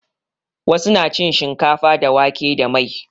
Wasu na cin shinkafa da wake da mai.